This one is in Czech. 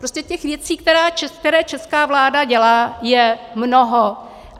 Prostě těch věcí, které česká vláda dělá, je mnoho.